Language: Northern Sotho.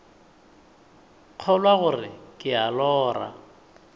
kgolwa gore ke a lora